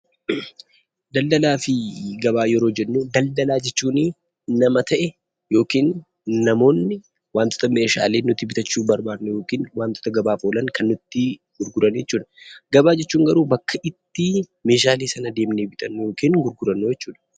Daldalaa fi gabaa yeroo jennu daldalaa jechuunni nama ta'e yookiin namooni wantoota meeshaalee nuti bitaachu barbanuu yookiin wantoota gabaaf olaan kan nutti gurguraan jechuudha. Gabaa jechuun garuu bakka itti maashaalee sana demnee bitanuu yookiin gurguraannu jechuudha.